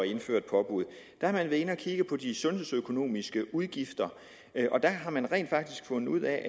indføre et påbud de sundhedsøkonomiske udgifter og der har man rent faktisk fundet ud af at